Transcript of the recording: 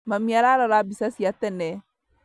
Mami ararora mbica cia tene